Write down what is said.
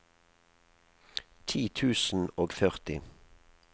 ti tusen og førti